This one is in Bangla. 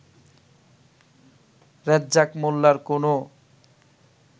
রেজ্জাক মোল্লার কোনও